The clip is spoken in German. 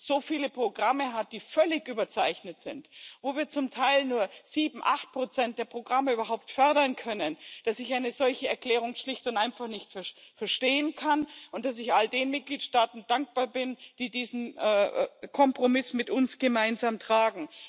so viele Programme hat, die völlig überzeichnet sind, wo wir zum Teil nur 7 oder 8 der Programme überhaupt fördern können. Deshalb kann ich eine solche Erklärung schlicht und einfach nicht verstehen und bin all den Mitgliedstaaten dankbar, die diesen Kompromiss mit uns gemeinsam tragen.